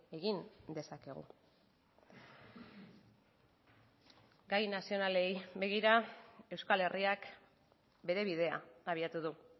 egin dezakegu gai nazionalei begira euskal herriak bere bidea abiatu du